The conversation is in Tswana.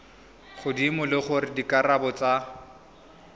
godimo le gore dikarabo tsa